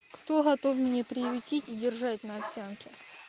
кто готов меня приютите держать на овсянке